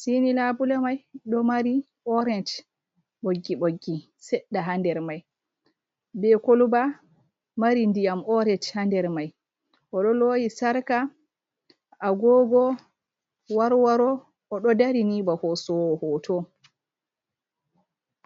Sey ni laabule may ɗo mari oorec ɓoggi ɓoggi seɗɗa, haa nder may be kolooba mari ndiyam oorec haa nder may. O ɗo loowi sarka ,agoogo ,warwaro ,o ɗo dari ni ba hoosowo hooto.